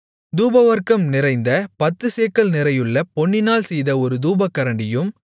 தூபவர்க்கம் நிறைந்த பத்துச்சேக்கல் நிறையுள்ள பொன்னினால் செய்த ஒரு தூபகரண்டியும்